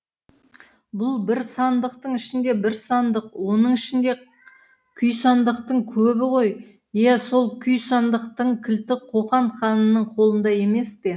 бұл бір сандықтың ішінде бір сандық оның ішінде күй сандықтың көбі ғой иә сол күй сандықтың кілті қоқан ханының қолында емес пе